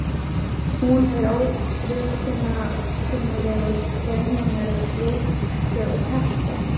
Hún er óviðkunnanlegust þegar hún er að ryksuga teppin.